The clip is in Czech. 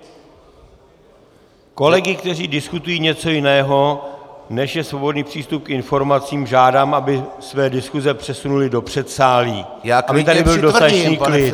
Kolegy, kteří diskutují něco jiného, než je svobodný přístup k informacím, žádám, aby své diskuse přesunuli do předsálí, aby tady byl dostatečný klid.